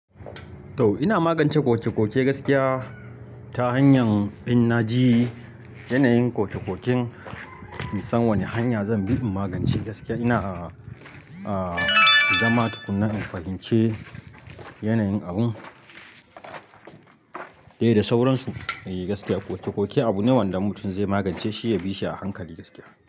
To ina magance ƙoke-ƙoke gaskiya ta hanyar in naji yanayin koke-koken, in san wane hanya zan bi in magance gaskiya. Ina, a, zama tukuna in fahimce yanayin abun dai da sauransu. E gaskiya koke-koke abu ne wanda in mutum zai magance shi ya bi shi a hankali gaskiya.